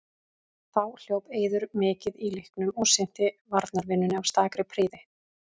Þá hljóp Eiður mikið í leiknum og sinnti varnarvinnunni af stakri prýði.